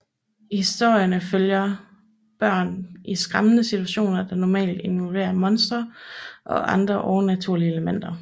Historierne følger børn i skræmmende situationer der normalt involverer monstre og andre overnaturlige elementer